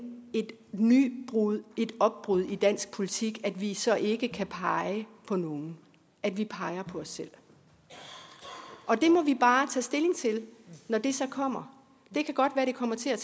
et nybrud et opbrud i dansk politik at vi så ikke kan pege på nogen at vi peger på os selv det må vi bare tage stilling til når det så kommer det kan godt være det kommer til at